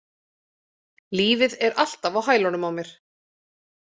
Lífið er alltaf á hælunum á mér.